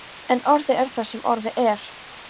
En orðið er það sem orðið er.